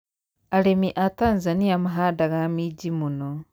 arimi a Tanzania mahandaga minji mũno